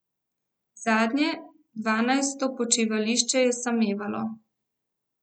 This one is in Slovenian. Zadnje, dvanajsto počivališče je samevalo.